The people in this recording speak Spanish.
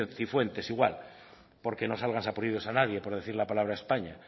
cifuentes igual porque no salga sarpullidos a nadie por decir la palabra españa